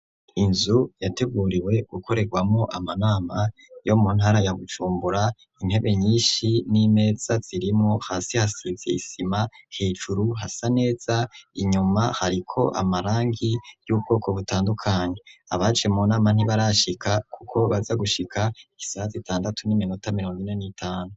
Inzu yateguriwe gukorerwamo amanama yo mu ntara ya gucumbura intebe nyinshi n'imeza zirimo hasi hasiziyisima hejuru hasa neza inyuma hariko amarangi y'ubwoko butandukanye abaje mu nama ntibarashika, kuko baza gushika isaha zitandatu n'iminoa tamiramonine n'itanu.